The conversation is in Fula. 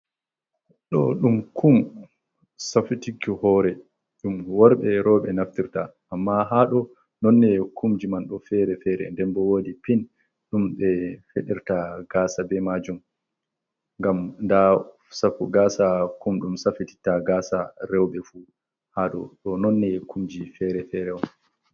Ɗo'o ɗum kum safitirki hoore ɗum worɓe rewɓe naftirta amma ha ɗo'o nooneeji kumji man ɗo feere feere nden boo woodi pin ɗum ɓe federta gasa bee maajum ngam ndaa gaasa kum ɗum safitita gaasa rewɓe fuu haa ɗo noon neeje kumji feere-feere on.